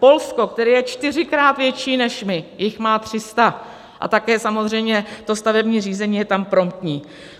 Polsko, které je čtyřikrát větší než my, jich má 300 a také samozřejmě to stavební řízení je tam promptní.